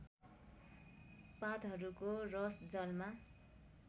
पातहरूको रस जलमा